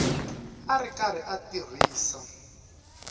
a ri karhi a tirhisa